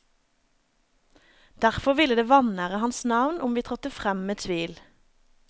Derfor ville det vanære hans navn om vi trådte frem med tvil.